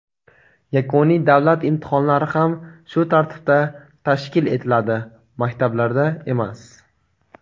yakuniy davlat imtihonlari ham shu tartibda tashkil etiladi (maktablarda emas).